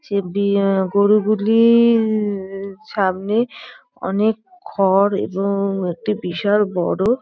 সে বি এ গরুগুলি-ই-র সামনে অনেক খড় এবং একটি বিশাল বড়--